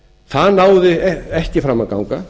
það náði ekki fram að ganga